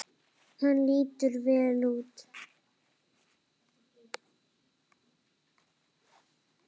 Hann lítur vel út.